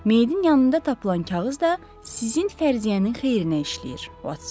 Meyidin yanında tapılan kağız da sizin fərziyyənin xeyrinə işləyir, Votson.